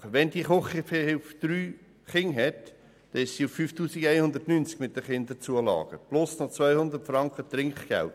Wenn die Küchenhilfe drei Kinder hat, erhält sie 5190 Franken mit den Kinderzulagen zuzüglich 200 Franken Trinkgeld.